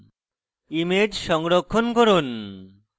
image সংরক্ষণ করুন